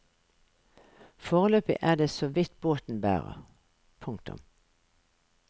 Foreløpig er det så vidt båten bærer. punktum